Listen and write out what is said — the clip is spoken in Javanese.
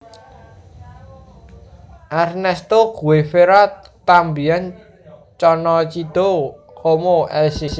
Ernesto Guevara también conocido como el Che